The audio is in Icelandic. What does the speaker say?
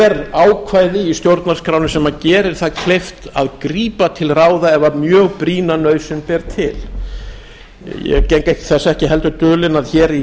er ákvæði í stjórnarskránni sem gerir það kleift að grípa til ráða ef mjög brýna nauðsyn ber til ég geng þess heldur ekki dulinn að í